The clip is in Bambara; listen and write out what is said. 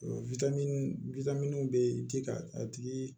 bɛ ji ka a tigi